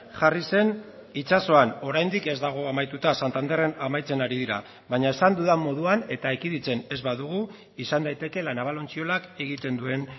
jarri zen itsasoan oraindik ez dago amaituta santanderren amaitzen ari dira baina esan dudan moduan eta ekiditen ez badugu izan daiteke la naval ontziolak egiten duen